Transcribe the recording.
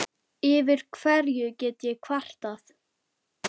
Yfir hverju get ég kvartað?